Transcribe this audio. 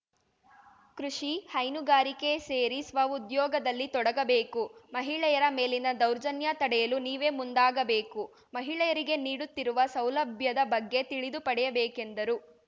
ಕೃಷಿ ಹೈನುಗಾರಿಕೆ ಸೇರಿ ಸ್ವಉದ್ಯೋಗದಲ್ಲಿ ತೊಡಗಬೇಕು ಮಹಿಳೆಯರ ಮೇಲಿನ ದೌರ್ಜನ್ಯ ತಡೆಯಲು ನೀವೇ ಮುಂದಾಗಬೇಕು ಮಹಿಳೆಯರಿಗೆ ನೀಡುತ್ತಿರುವ ಸೌಲಭ್ಯದ ಬಗ್ಗೆ ತಿಳಿದು ಪಡೆಯಬೇಕೆಂದರು